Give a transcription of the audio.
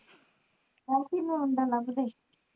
OP ਨੂੰ ਮੁੰਡਾ ਲੱਬਦੇ